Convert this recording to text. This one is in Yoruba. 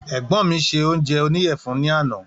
Ègbón mí ṣe oúnjẹ oníyèfun ní àná